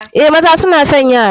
Eh, maza suna son yara.